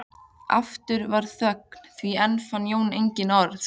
Aftur varð þögn því enn fann Jón engin orð.